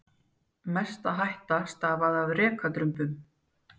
Mest hætta stafaði af rekadrumbum.